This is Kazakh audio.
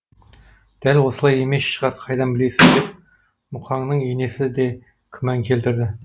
дәл олай емес шығар қайдан білесіз деп мұқанның енесі де күмән келтірді